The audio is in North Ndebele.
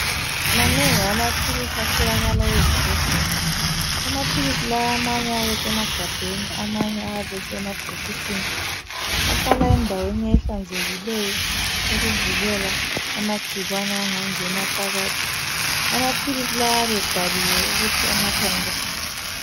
Manengi amaphilisi atholakala ezibhedlela. Amaphilisi lawa amanye ayabe esemagabheni, amanye ayabe esemabhokisini. Ahlala endaweni ehlanzekileyo ukuvikela amagcikwane angangena phakathi. Amaphilisi lawa ayabe ebhaliwe ukuthi anathwa njani.